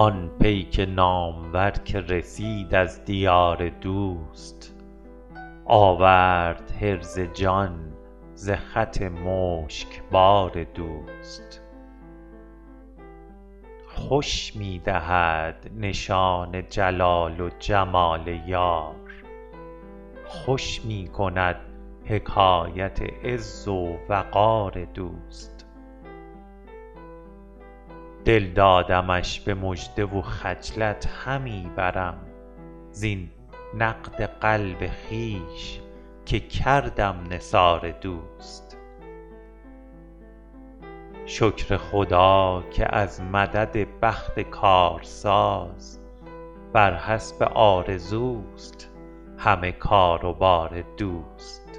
آن پیک نامور که رسید از دیار دوست آورد حرز جان ز خط مشکبار دوست خوش می دهد نشان جلال و جمال یار خوش می کند حکایت عز و وقار دوست دل دادمش به مژده و خجلت همی برم زین نقد قلب خویش که کردم نثار دوست شکر خدا که از مدد بخت کارساز بر حسب آرزوست همه کار و بار دوست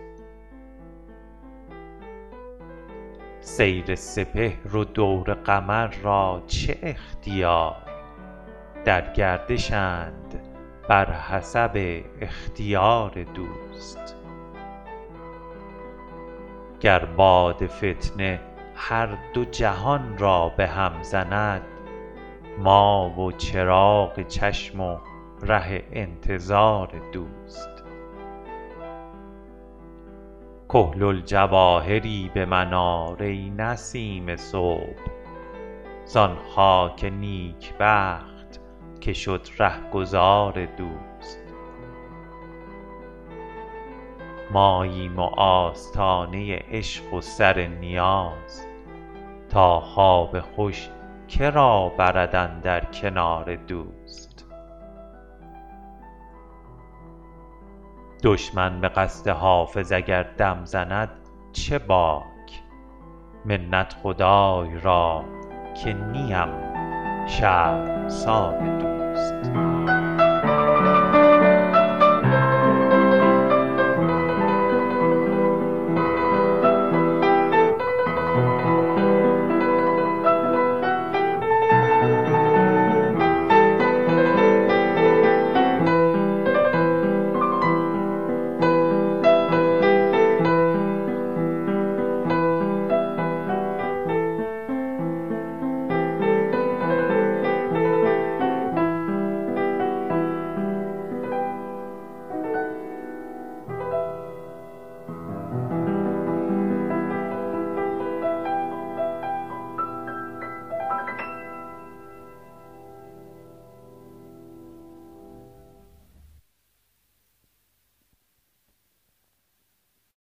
سیر سپهر و دور قمر را چه اختیار در گردشند بر حسب اختیار دوست گر باد فتنه هر دو جهان را به هم زند ما و چراغ چشم و ره انتظار دوست کحل الجواهری به من آر ای نسیم صبح زان خاک نیکبخت که شد رهگذار دوست ماییم و آستانه عشق و سر نیاز تا خواب خوش که را برد اندر کنار دوست دشمن به قصد حافظ اگر دم زند چه باک منت خدای را که نیم شرمسار دوست